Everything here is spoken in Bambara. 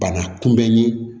Bana kunbɛn ye